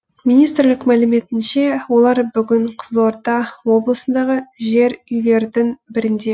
министрлік мәліметінше олар бүгін қызылорда облысындағы жер үйлердің бірінде